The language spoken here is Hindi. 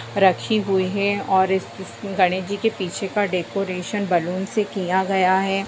रखी हुई हैं और इ-इस गणेश जी के पीछे का डेकोरेशन बलून से किया गया है।